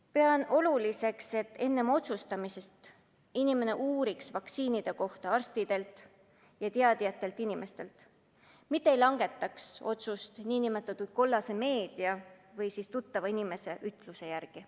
Pean oluliseks, et enne otsustamist inimene uuriks vaktsiinide kohta arstidelt ja muudelt teadjatelt inimestelt, mitte ei langetaks otsust nn kollase meedia või tuttava inimese jutu järgi.